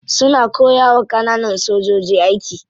Suna koyawa kananan sojoji aiki.